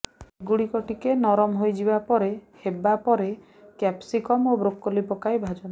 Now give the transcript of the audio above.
ଏଗୁଡ଼ିକ ଟିକେ ନରମ ହୋଇଯିବା ପରେ ହେବା ପରେ କ୍ୟାପ୍ସିକମ୍ ଓ ବ୍ରୋକୋଲି ପକାଇ ଭାଜନ୍ତୁ